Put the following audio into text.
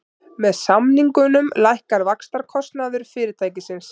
Með samningunum lækkar vaxtakostnaður fyrirtækisins